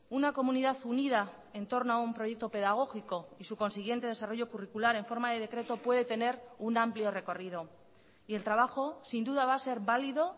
una comunidad unida en torno a un proyecto pedagógico y su consiguiente desarrollo curricular en forma de decreto puede tener un amplio recorrido y el trabajo sin duda va a ser válido